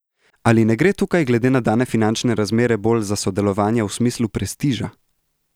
Ali ne gre tukaj glede na dane finančne razmere bolj za sodelovanje v smislu prestiža?